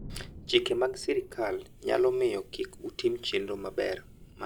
Chike mag sirkal nyalo miyo kik utim chenro maber mar dhi bayo.